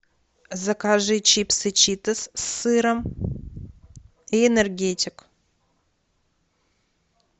закажи чипсы читос с сыром и энергетик